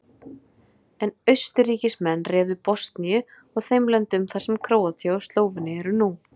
En Austurríkismenn réðu Bosníu og þeim löndum þar sem Króatía og Slóvenía eru nú.